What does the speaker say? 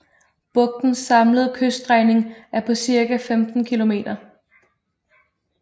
Bugtens samlede kyststrækning er på cirka 15 kilometer